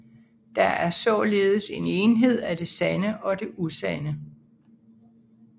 Der er således en enhed af det sande og det usande